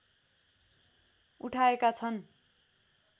उठाएका छन्